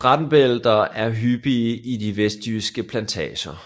Brandbælter er hyppige i de vestjyske plantager